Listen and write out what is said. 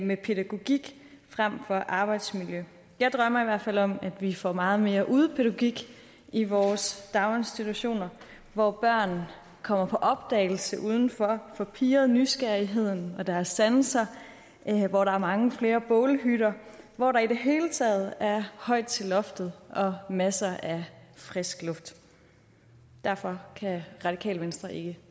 med pædagogik frem for arbejdsmiljø jeg drømmer i hvert fald om at vi får meget mere udepædagogik i vores daginstitutioner hvor børn kommer på opdagelse udenfor får pirret nysgerrigheden og deres sanser hvor der er mange flere bålhytter hvor der i det hele taget er højt til loftet og masser af frisk luft derfor kan radikale venstre ikke